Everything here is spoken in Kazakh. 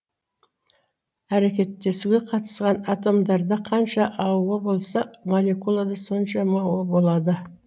әрекеттесуге қатысқан атомдарда қанша ао болса молекулада сонша мо болады